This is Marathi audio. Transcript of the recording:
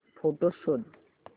फोटोझ शोध